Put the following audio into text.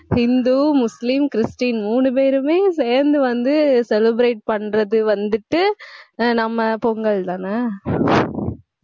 Hindu, Muslim, Christian, மூணு பேருமே சேர்ந்து வந்து celebrate பண்றது வந்துட்டு ஆஹ் நம்ம பொங்கல்தானே